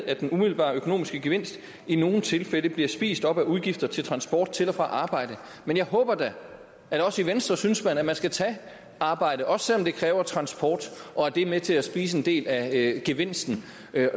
at den umiddelbare økonomiske gevinst i nogle tilfælde bliver spist op af udgifter til transport til og fra arbejde men jeg håber da at også i venstre synes man at man skal tage arbejde også selv om det kræver transport og det er med til at spise en del af gevinsten